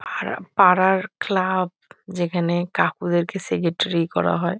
আর পাড়ার ক্লাব যেখানে কাকুদেরকে সেগেট্রি করা হয়।